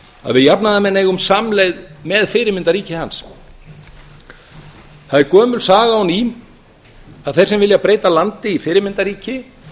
að við jafnaðarmenn eigum samleið með fyrirmyndarríki hans það er gömul saga og ný að þeir sem vilja breyta landi í fyrirmyndarríki